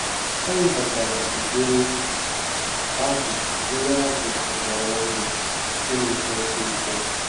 Ha webatara ụdịrị azụ ụdịrị azụ ogbara ọhụrụ nke na-eto ọsịịsọ